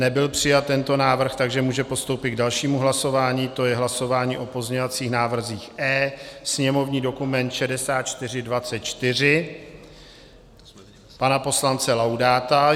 Nebyl přijat tento návrh, takže můžeme postoupit k dalšímu hlasování, to je hlasování o pozměňovacích návrzích E, sněmovní dokument 6424 pana poslance Laudáta.